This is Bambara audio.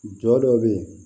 Jɔ dɔ bɛ yen